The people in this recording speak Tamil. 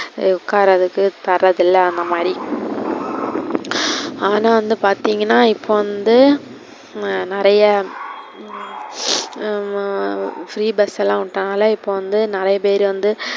உக்கார்றதுக்கு தரது இல்ல அந்தமாரி ஆனா வந்து பாத்திங்கனா இப்போ வந்து நிறைய உம் free bus லாம் உட்டாங்கல்ல, இப்போ வந்து நிறைய பேரு வந்து,